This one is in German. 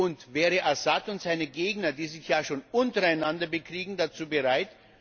Und wären Assad und seine Gegner, die sich ja schon untereinander bekriegen, dazu bereit?